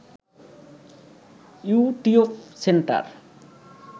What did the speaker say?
YouTube centre